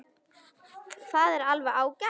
Það er alveg ágætt.